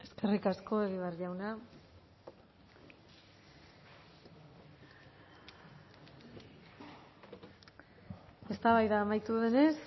eskerrik asko egibar jauna eztabaida amaitu denez